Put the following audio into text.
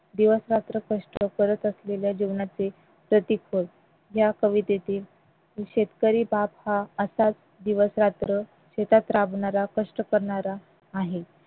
दिवस रात्र कष्ट करत असलेल्या जीवनाचे ह्या कवितेची शेतकरी बाप हा असाच दिवसरात्र शेतात राबणारा कष्ट करणारा आहे